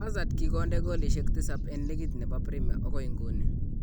Hazard kokikonde golishek tisab en ligit nebo premia okoi iguni.